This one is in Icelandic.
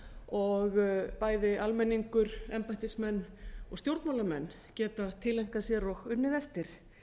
og bæði almenningur embættismenn og stjórnmálamenn geta tileinkað sér og unnið eftir